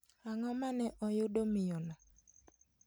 Ang'o mane oyudo miyono?